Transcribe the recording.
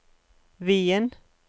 Wien